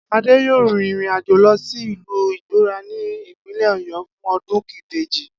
Adé yóò rin ìrìnàjò lo̩ sí ìlú Igbóo̩rà ní ìpínlè̩ Ò̩yó̩ fún o̩dún ìbejì